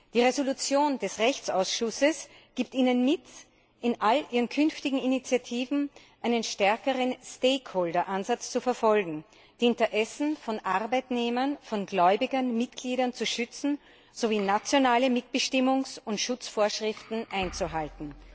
Die Entschließung des Rechtsausschusses gibt Ihnen mit, in all Ihren künftigen Initiativen einen stärkeren Stakeholder Ansatz zu verfolgen, die Interessen von Arbeitnehmern, Gläubigern, Mitgliedern zu schützen sowie nationale Mitbestimmungs und Schutzvorschriften einzuhalten.